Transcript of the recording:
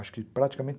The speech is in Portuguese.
Acho que praticamente